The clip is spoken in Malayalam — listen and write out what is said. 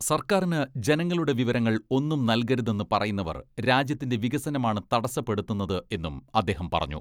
സർക്കാരിന് ജനങ്ങളുടെ വിവരങ്ങൾ ഒന്നും നൽകരുതെന്ന് പറയുന്നവർ രാജ്യത്തിന്റെ വികസനമാണ് തടസ്സപ്പെടുത്തുന്നത് എന്നും അദ്ദേഹം പറഞ്ഞു.